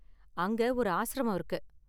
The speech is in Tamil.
அங்க ஒரு ஆஸ்ரமம் இருக்கு.